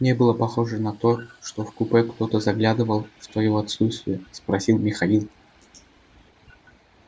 не было похоже на то что в купе кто-то заглядывал в твоё отсутствие спросил михаил